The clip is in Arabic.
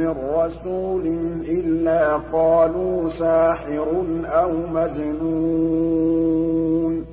مِّن رَّسُولٍ إِلَّا قَالُوا سَاحِرٌ أَوْ مَجْنُونٌ